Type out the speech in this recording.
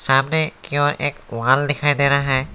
सामने की ओर एक वॉल दिखाई दे रहा है।